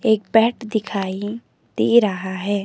एक बैट दिखाई दे रहा है।